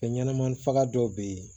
Fɛn ɲɛnɛmani faga dɔw be yen